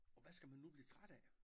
Og hvad skal man nu blive træt af?